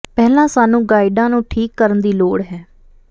ਪਹਿਲਾਂ ਸਾਨੂੰ ਗਾਈਡਾਂ ਨੂੰ ਠੀਕ ਕਰਨ ਦੀ ਲੋੜ ਹੈ